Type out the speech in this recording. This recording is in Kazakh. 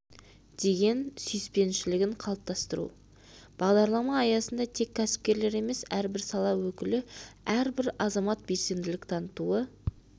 деген сүйіспеншілігін қалыптастыру бағдарлама аясында тек кәсіпкерлер емес әрбір сала өкілі әрбір азамат белсенділік танытуы